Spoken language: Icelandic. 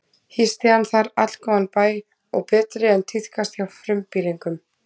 Hýsti hann þar allgóðan bæ og betri en tíðkaðist hjá frumbýlingum.